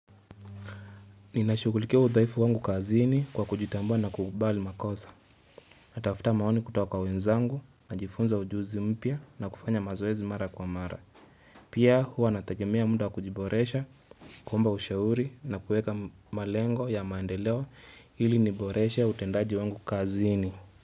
Ninashughulikia udhaifu wangu kazini kwa kujitambua na kukubali makosa. Natafuta maoni kutoka kwa wenzangu, najifunza ujuzi mpya na kufanya mazoezi mara kwa mara. Pia huwa natagemea muda wa kujiboresha, kuomba ushauri na kuweka malengo ya maendeleo ili niboreshe utendaji wangu kazini.